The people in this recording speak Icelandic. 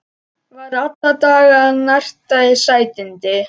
Var alla daga að narta í sætindi.